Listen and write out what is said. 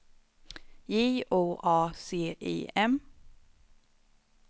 J O A C I M